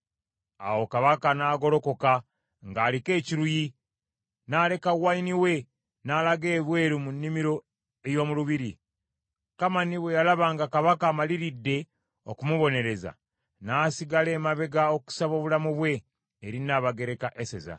Awo Kabaka n’agolokoka ng’aliko ekiruyi, n’aleka wayini we, n’alaga ebweru mu nnimiro ey’omu lubiri. Kamani bwe yalaba nga Kabaka amaliridde okumubonereza, n’asigala emabega okusaba obulamu bwe eri Nnabagereka Eseza.